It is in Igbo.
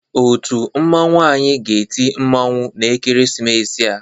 Otu mmanwụ anyị ga-eti mmanwụ n'ekeresimesi a.